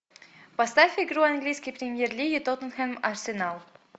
поставь игру английской премьер лиги тоттенхэм арсенал